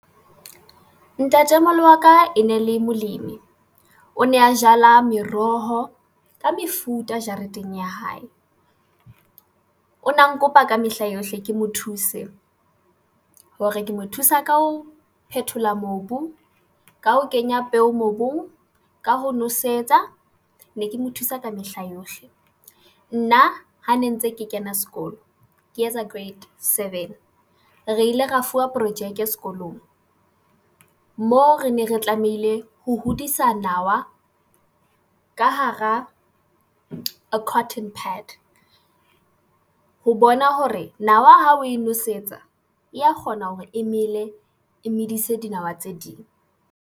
Ntatemoholo wa ka e ne le molemi. O ne a jala meroho ka mefuta jareteng ya hae. O na nkopa ka mehla yohle ke mo thuse. Hore ke mo thusa ka ho phethola mobu, ka ho kenya peo mobung, ka ho nosetsa, ne ke mo thusa ka mehla yohle. Nna ha ne ntse ke kena sekolo, ke etsa grade seven. Re ile ra fuwa projeke sekolong, moo re ne re tlamehile ho hodisa nawa ka hara cotton pad. Ho bona hore nawa ha o e nosetsa, ya kgona hore emele e medise dinawa tse ding.